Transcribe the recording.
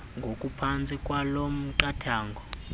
ngokuphantsi kwaloo miqathango